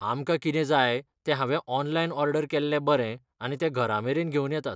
आमकां कितें जाय ते हांवें ऑनलायन ऑर्डर केल्लें बरें आनी ते घरामेरेन घेवन येतात